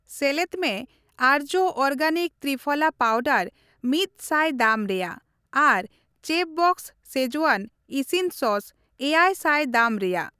ᱥᱮᱞᱮᱫ ᱢᱮ ᱟᱨᱡᱚ ᱚᱨᱜᱮᱱᱤᱠ ᱛᱨᱤᱯᱷᱚᱞᱟ ᱯᱟᱣᱰᱟᱨ ᱢᱤᱫ ᱥᱟᱭ ᱫᱟᱢ ᱨᱮᱭᱟᱜ ᱟᱨ ᱪᱮᱯᱷᱵᱚᱥᱥ ᱥᱠᱮᱡᱣᱟᱱ ᱤᱥᱤᱱ ᱥᱚᱥ ᱮᱭᱟᱭ ᱥᱟᱭ ᱫᱟᱢ ᱨᱮᱭᱟᱜ ᱾